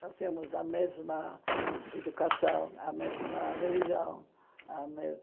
Nós temos a mesma educação, a mesma religião. A